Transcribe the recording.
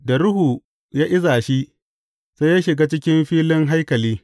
Da Ruhu ya iza shi, sai ya shiga cikin filin haikali.